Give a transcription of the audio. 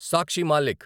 Sakshi Malik